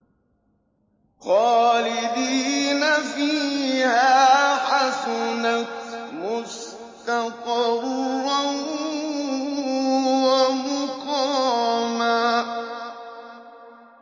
خَالِدِينَ فِيهَا ۚ حَسُنَتْ مُسْتَقَرًّا وَمُقَامًا